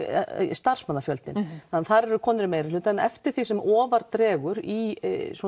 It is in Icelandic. starfsmannafjöldinn þar er konur í meirihluta en eftir því sem ofar dregur í